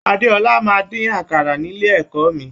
Adéọlá máa n dín àkàrà nílé ẹ̀kọ́ mí.